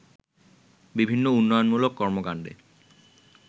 বিভিন্ন উন্নয়নমূলক কর্মকাণ্ডে